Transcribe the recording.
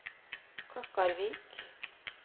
Klokkarvik